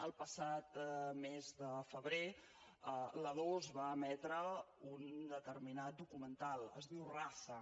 el passat mes de febrer la dos va emetre un determinat documental es diu raza